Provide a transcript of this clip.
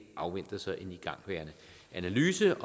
afventer så en igangværende analyse